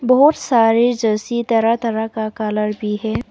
बहुत सारे जर्सी तरह तरह का कलर भी है।